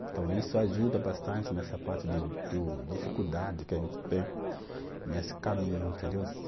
Então, isso ajuda bastante nessa parte de do dificuldade que a gente tem nesse caminho, entendeu?